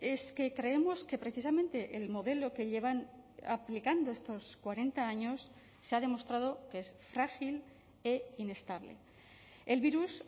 es que creemos que precisamente el modelo que llevan aplicando estos cuarenta años se ha demostrado que es frágil e inestable el virus